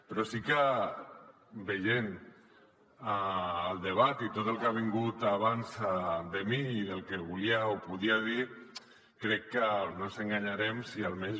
però sí que veient el debat i tot el que ha vingut abans de mi i del que volia o podia dir crec que no ens enganyarem si almenys